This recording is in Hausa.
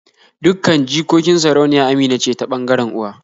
Dukkan jikokin sarauniya Amina ce ta ɓangaren uwa